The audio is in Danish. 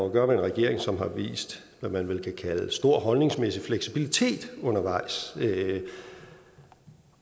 at gøre med en regering som har vist hvad man vel kan kalde stor holdningsmæssig fleksibilitet undervejs